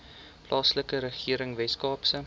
plaaslike regering weskaapse